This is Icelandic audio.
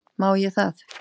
Má ég það?